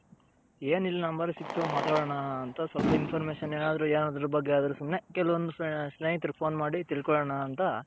ಏನಿಲ್ಲ number ಸಿಕ್ತು ಮಾತಡನ ಅಂತ ಸ್ವಲ್ಪ information ಏನಾದ್ರು ಏನಾದ್ರು ಬಗ್ಗೆ ಅದ್ರು ಸುಮ್ನೆ ಕೆಲವಂದ್ ಸ್ನೇಹಿತರು phone ಮಾಡಿ ತಿಳ್ಕೊನನ ಅಂತ .